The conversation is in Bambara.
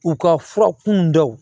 U ka fura kun daw